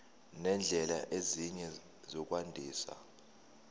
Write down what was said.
nezindlela ezinye zokwandisa